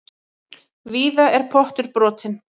Víða er pottur brotinn.